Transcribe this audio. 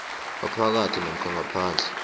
ngaphakathi namkha ngaphandle